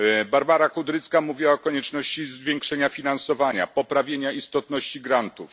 Barbara Kudrycka mówiła o konieczności zwiększenia finansowania, poprawy istotności grantów.